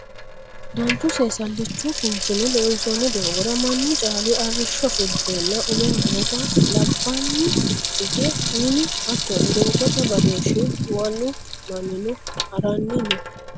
danchu seesallichu kinchinni loonsoonni doogora mannu caali arrishsho fulteenna uwe noowa labaanni hige minu hattono doogote badoshshi wolu mannino haranni no